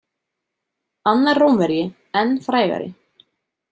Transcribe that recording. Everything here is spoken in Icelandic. Annar Rómverji enn frægari.